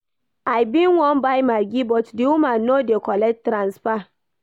I bin wan buy maggi but the woman no dey collect transfer